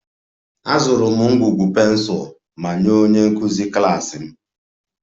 Azụrụ m ngwugwu pensụl ma nye onye nkụzi klas m